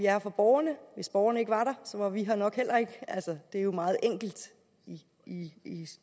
her for borgerne hvis borgerne ikke var der var vi her nok heller ikke altså det er jo meget enkelt i